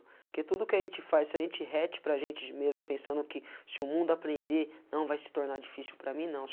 Porque tudo o que a gente faz, se a gente retem para a gente mesmo pensando que se o mundo aprender, não vai se tornar difícil para mim, não.